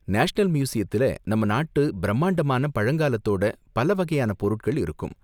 National மியூசியத்துல நம்ம நாட்டு பிரம்மாண்டமான பழங்காலத்தோட பல வகையான பொருட்கள் இருக்கும்.